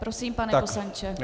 Prosím, pane poslanče.